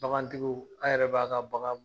Bagantigiw a yɛrɛ b'a ka bagan